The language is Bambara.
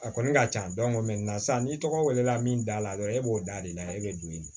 A kɔni ka can sisan n'i tɔgɔ welela min da la dɔrɔn e b'o da de la e bɛ don ɲini